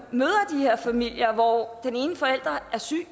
familier hvor den ene forælder er syg